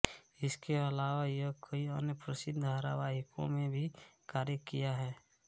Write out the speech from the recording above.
इसके अलावा यह कई अन्य प्रसिद्ध धारावाहिकों में भी कार्य किया है